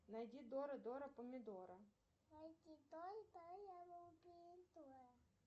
найди дора дора помидора